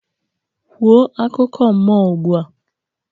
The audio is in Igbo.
Kwuo akụkọ mmụọ ugbu a